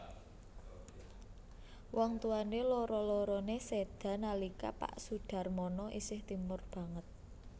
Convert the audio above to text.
Wong tuwané loro loroné séda nalika pak Soedharmono isih timur banget